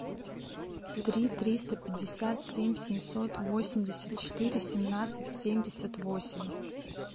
три триста пятьдесят семь семьсот восемьдесят четыре семнадцать семьдесят восемь